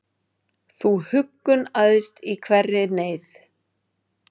Þú huggun æðst í hverri neyð,